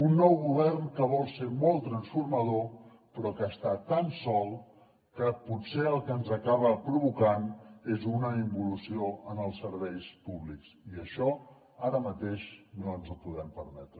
un nou govern que vol ser molt transformador però que està tan sol que potser el que ens acaba provocant és una involució en els serveis públics i això ara mateix no ens ho podem permetre